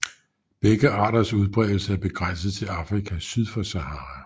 Begge arters udbredelse er begrænset til Afrika syd for Sahara